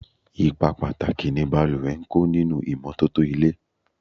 Ipa pàtàkì ni balùwẹ̀ ń kó nínú ìmọ́tótó ilé.